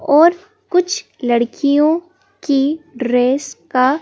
और कुछ लड़कियों की ड्रेस का--